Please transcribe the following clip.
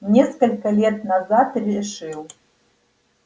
несколько лет назад решил